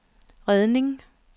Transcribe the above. redning